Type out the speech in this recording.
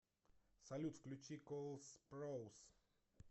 салют включи кол спроус